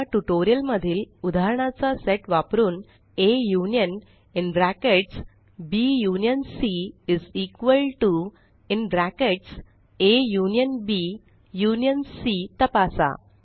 या ट्यूटोरियल मधील उदाहरणाचा सेट वापरुन160 A union is equal to union Cतपासा